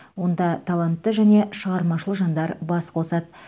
онда талантты және шығармашыл жандар бас қосады